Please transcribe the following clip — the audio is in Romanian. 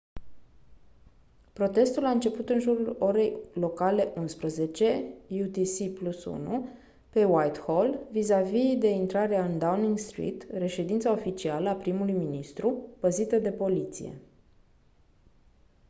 protestul a început în jurul orei locale 11:00 utc+1 pe whitehall vizavi de intrarea în downing street reședința oficială a primului ministru păzită de poliție